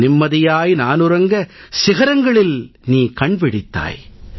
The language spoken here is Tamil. நிம்மதியாய் நான் உறங்க சிகரங்களில் நீ கண் விழித்தாய்